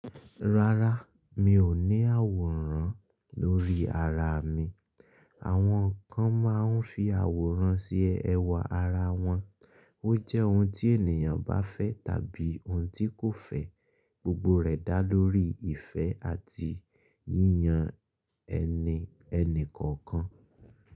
Rárá, mi ò ní àwòrán lórí ara mi. Àwọn kan máa ń fi àwòrán se ẹwà ara wọn. Ó jẹ́ ohun tí ènìyàn bá fẹ́ tàbí ohun tí kò fẹ́. Gbogbo rẹ̀ dá lórí ìfẹ́ àti yíyan ẹni ẹni kọ̀ọ̀kan.